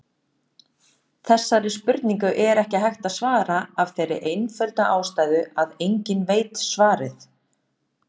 Þessari spurningu er ekki hægt að svara af þeirri einföldu ástæðu að enginn veit svarið.